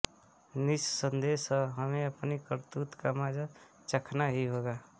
निस्संदेह हमें अपनी करतूत का मजा़ चखना ही होगा